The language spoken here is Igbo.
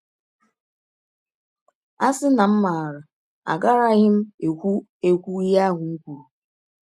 ‘ A sị na m maara agaraghị m ekwụ ekwụ ihe ahụ m kwụrụ! ’